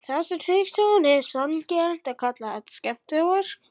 Hafsteinn Hauksson: Er sanngjarnt að kalla þetta skemmdarverk?